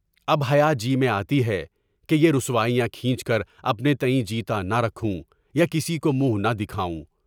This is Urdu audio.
اب حیاجی میں آتی ہے کہ یہ رسوائیاں کھینچ کر اپنے تئیں جیتانا نہ رکھوں، پاکسی کو منہ نہ دکھاؤں۔